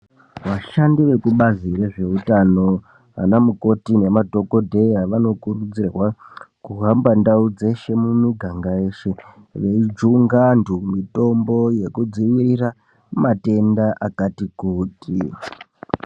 Vashandi vekubazi rezveutano vana mukoti nemadhokodheya vanokurudzirwa kuhamba ndau dzeshe mumiganga yeshe veijunga antu mitombo yekudzivirira matenda akati kuti.